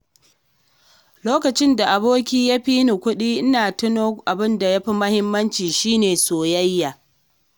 Lokacin da aboki ya fi ni kuɗi, ina tuna abin da ya fi muhimmanci shi ne soyayya.